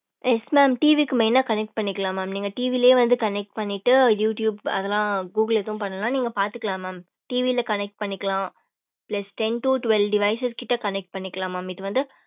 yes mam TV க்கு main ஆஹ் connect பண்ணிக்கலாம் mam நீங்க TV லையே வந்து connect பண்ணிட்டு youtube அதெலாம் google ஏதும் பண்ணலாம் நீங்க பாத்துக்கலாம் TV ல connect பண்ணிக்கலாம் plus ten to twelve device கிட்ட connect பண்ணிக்கலாம் இது வந்து